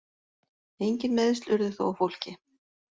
Engin meiðsl urðu þó á fólki